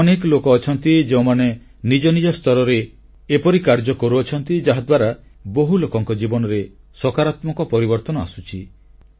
ଏମିତି ଅନେକ ଲୋକ ଅଛନ୍ତି ଯେଉଁମାନେ ନିଜ ନିଜ ସ୍ତରରେ ଏପରି କାର୍ଯ୍ୟ କରୁଛନ୍ତି ଯାହାଦ୍ୱାରା ବହୁ ଲୋକଙ୍କ ଜୀବନରେ ସକାରାତ୍ମକ ପରିବର୍ତ୍ତନ ଆସୁଛି